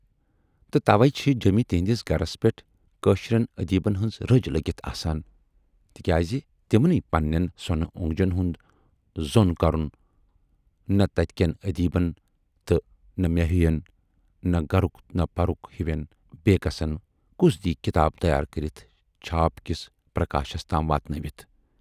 تہٕ تَوے چھِ جٮ۪مہِ تِہٕندِس گرس پٮ۪ٹھ کٲشرٮ۪ن ٲدیٖبن ہٕنز رٔج لٔگِتھ آسان تِکیازِ تِمنٕے پنہٕ نٮ۪ن سۅنہٕ اونگجن ہُند زُول کرن نہٕ تتہِ کٮ۪ن ٲدیٖبن تہٕ مے ہِوٮ۪ن نہٕ گرُک تہٕ پرُک ہِوٮ۪ن بے کسن کُس دِیہِ کِتاب تیار کٔرِتھ چھاپ کِس پرکاشس تام واتنٲوِتھ؟